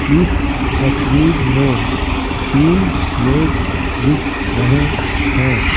इस तस्वीर में तीन लोग दिख रहे हैं।